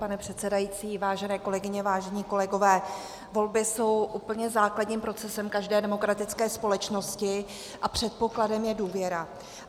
Pane předsedající, vážené kolegyně, vážení kolegové, volby jsou úplně základním procesem každé demokratické společnosti a předpokladem je důvěra.